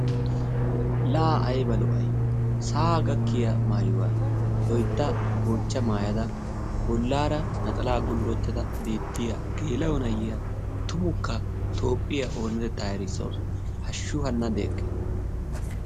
Law ayba lo'ay sa''aa gakkiyaa maayuwaa loytta goocha maayada bollaara naxalaa gullottada beettiya geela'o na'iyaa tumukka toophphiya oonatettaa erissawusu. Hashshu hanna de'ekke!